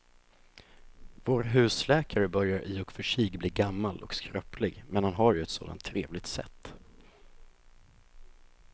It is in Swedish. Vår husläkare börjar i och för sig bli gammal och skröplig, men han har ju ett sådant trevligt sätt!